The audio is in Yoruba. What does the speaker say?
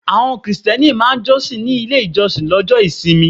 Àwọn Krìsìtẹ́nì máa jọ́sìn nílé ìjọsìn lọ́jọ́ ìsinmi.